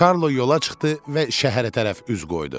Karlo yola çıxdı və şəhərə tərəf üz qoydu.